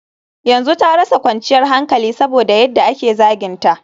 yanzu ta rasa kwanciyar hankali saboda yadda ake zaginta